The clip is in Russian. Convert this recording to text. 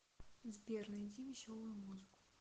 сбер найди веселую музыку